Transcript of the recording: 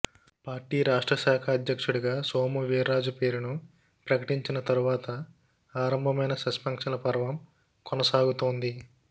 party రాష్ట్రశాఖ అధ్యక్షుడిగా సోము వీర్రాజు పేరును ప్రకటించిన తరువాత ఆరంభమైన సస్పెన్షన్ల పర్వం కొనసాగుతోంది